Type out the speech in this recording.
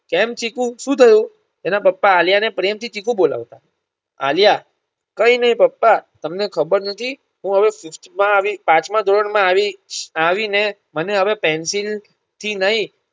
કેમ ચીકુ શું થયું એના પપ્પા આલ્યાને પ્રેમ થી ચીકુ બોલાવતા આલ્યા કઇનઈ પપ્પા તમને ખબર નથી હું હવે fifth આવી પાંચમા ધોરણ માં આવી આવી ને મને હવે Pencil થી નય